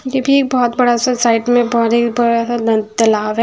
ये भी एक बहुत बड़ा सा साइट में बहु ही बड़ा सा लन तालाब है।